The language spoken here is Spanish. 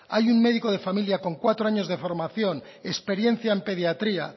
hay un médico de familia con cuatro años de formación experiencia en pediatría